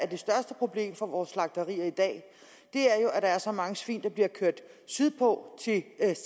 det største problem for vores slagterier i dag er at der er så mange svin der bliver kørt sydpå